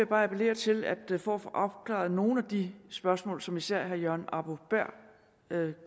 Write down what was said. bare appellere til at vi for at få opklaret nogle af de spørgsmål som især herre jørgen arbo bæhr